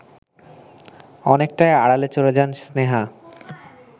অনেকটাই আড়ালে চলে যান স্নেহা